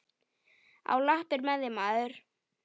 Á lappir með þig, maður!